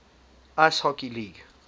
ice hockey league